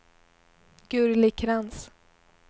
Gurli Krantz